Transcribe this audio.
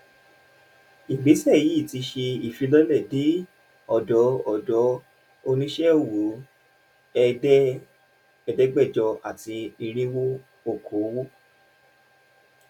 ìgbésẹ̀ yìí ti ṣe ìfilọ́lẹ̀ dé ọ̀dọ̀ ọ̀dọ̀ oníṣẹ́ ọwọ́ ẹ̀dẹ́gbẹ̀jọ àti irinwó okoòwò.